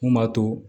Mun b'a to